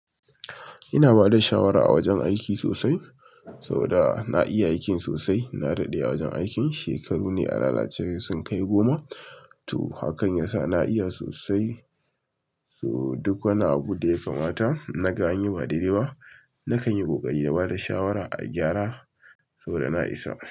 Ina bada shawara a wajen aiki sosai saboda na iya aikin sosai. Na daɗe a wajen aikin, shekaru ne a lalace dai sun kai goma to hakan yasa na iya sosai. To duk wani abu da ya kamata naga an yi ba daidai ba, na kan yi ƙoƙari na bada shawara a gyara saboda na isa.